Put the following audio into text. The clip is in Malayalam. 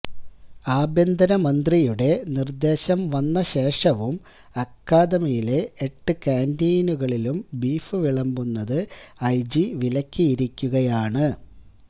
ആഭ്യന്തരമന്ത്രിയുടെ നിര്ദേശം വന്ന ശേഷവും അക്കാദയിലെ എട്ട് ക്യാന്റീനുകളിലും ബീഫ് വിളമ്പുന്നത് ഐജി വിലക്കിയിരിക്കുകയാണ്